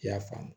I y'a faamu